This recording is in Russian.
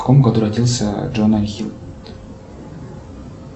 в каком году родился джона хилл